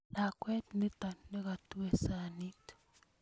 lakwet nito ne katui sanit